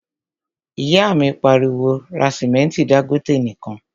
ìyá mi pariwo, 'ra sìmẹ́ntí Dangote nìkan'